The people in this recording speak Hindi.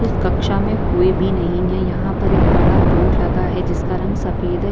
इस कक्षा में कोई भी नहीं है यहाँ पर एक बड़ा बोर्ड लगा है जिसका रंग सफ़ेद है।